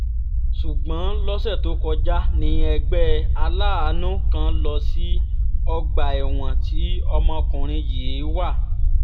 ṣùgbọ́n lọ́sẹ̀ tó kọjá ní ẹgbẹ́ aláàánú kan lọ sí ọgbà ẹ̀wọ̀n tí ọmọkùnrin yìí wà